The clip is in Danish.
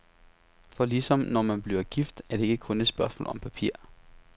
For ligesom når man bliver gift, er det ikke kun et spørgsmål om papir.